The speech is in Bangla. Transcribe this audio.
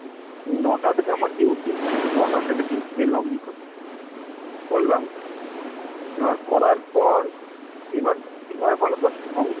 ন'টা থেকে আমার duty ন'টা থেকে duty তে login করি, করলাম এবার করার পর এবার কিভাবে বলতো? সব